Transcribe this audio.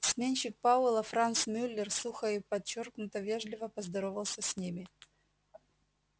сменщик пауэлла франц мюллер сухо и подчёркнуто вежливо поздоровался с ними